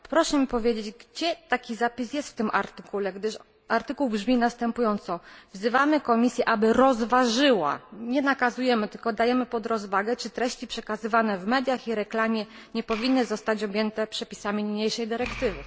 Proszę mi powiedzieć, gdzie taki zapis jest w tym artykule, gdyż artykuł brzmi następująco wzywamy Komisję, aby rozważyła nie nakazujemy, tylko dajemy pod rozwagę czy treści przekazywane w mediach i reklamie nie powinny zostać objęte przepisami niniejszej dyrektywy.